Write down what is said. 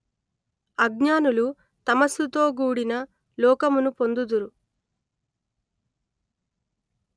అజ్ఞానులు తమస్సుతోగూడిన లోకమును పొందుదురు